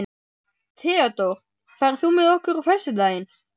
Theódór, ferð þú með okkur á föstudaginn?